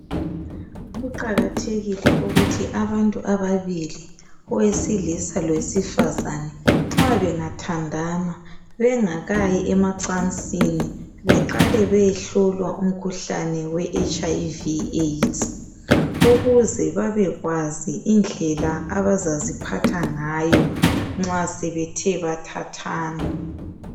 Kuqakathekile ukuthi abantu ababili owesilisa lowesifazana nxa bengathandana bengakayi emacansini beqale beyehlolwa umkhuhlane weHiv aids ukuze babekwazi indlela abazaziphatha ngayo nxa sebethe bathathana.